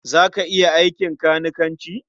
Za ka iya aikin kanikanci?